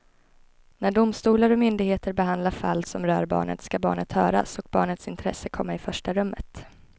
När domstolar och myndigheter behandlar fall som rör barnet ska barnet höras och barnets intresse komma i första rummet.